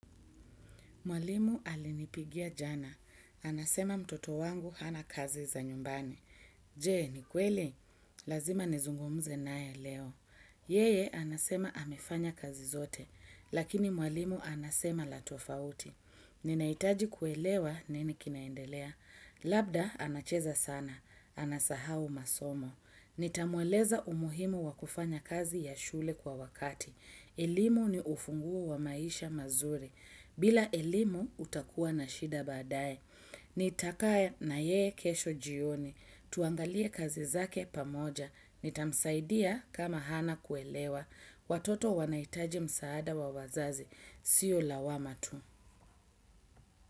Mwalimu alinipigia jana. Anasema mtoto wangu hana kazi za nyumbani. Je, ni kweli? Lazima nizungumze nae leo. Yeye, anasema amefanya kazi zote. Lakini mwalimu anasema la tofauti. Ninahitaji kuelewa nini kinaendelea. Labda, anacheza sana. Anasahau masomo. Nitamweleza umuhimu wa kufanya kazi ya shule kwa wakati. Elimu ni ufunguo wa maisha mazuri. Bila elimu utakuwa na shida baadae. Nitakaa na yeye kesho jioni. Tuangalie kazi zake pamoja. Nitamsaidia kama hana kuelewa. Watoto wanahitaji msaada wa wazazi. Sio lawama tu.